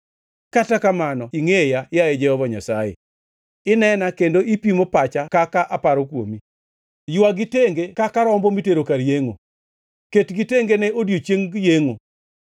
Kata kamano ingʼeya, yaye Jehova Nyasaye; inena kendo ipimo pacha kaka aparo kuomi. Ywagi tenge kaka rombo mitero kar yengʼo! Ketgi tenge ne odiechieng yengʼo!